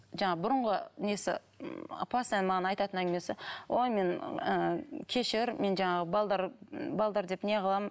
жаңағы бұрынғы несі м постоянно маған айтатын әңгімесі ой мен ыыы кешір мен жаңағы деп не қыламын